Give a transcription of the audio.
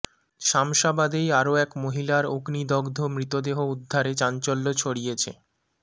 শামশাবাদেই আরও এক মহিলার অগ্নিদগ্ধ মৃতদেহ উদ্ধারে চাঞ্চল্য ছড়িয়েছে